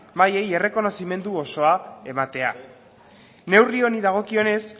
mailei errekonozimendu osoa ematea neurri honi dagokionez